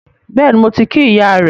Bẹ́ẹ̀ni, mo ti kí ìyá rẹ